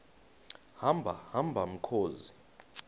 hamba hamba mkhozi